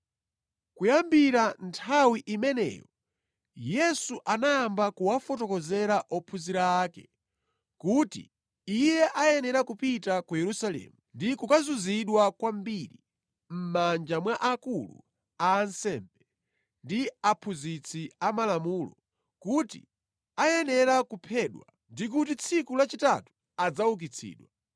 Kuyambira nthawi imeneyo Yesu anayamba kuwafotokozera ophunzira ake kuti Iye ayenera kupita ku Yerusalemu ndi kukazunzidwa kwambiri mʼmanja mwa akulu a ansembe ndi aphunzitsi amalamulo kuti ayenera kuphedwa, ndi kuti tsiku lachitatu adzaukitsidwa.